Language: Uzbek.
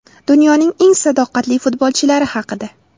Dunyoning eng sadoqatli futbolchilari haqida.